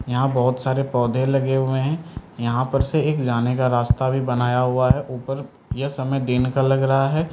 यहां बहोत सारे पौधे लगे हुए हैं यहां पर से एक जाने का रास्ता भी बनाया हुआ है ऊपर यह समय दिन का लग रहा है।